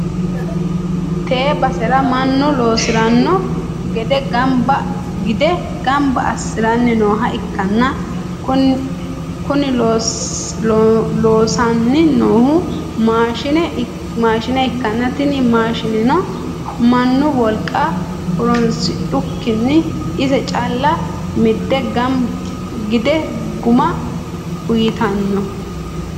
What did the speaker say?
tee basera mannu loosi'rino gide gamba assi'ranni nooha ikkanna, kuni loosanni noohu maashine ikkanna, tini maashineno mannu wolqa horonsidhukkinni ise calla midde gudde guma uytannote.